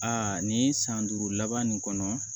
Aa nin san duuru laban nin kɔnɔ